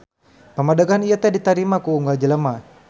Pamadegan ieu teu ditarima ku unggal jelema.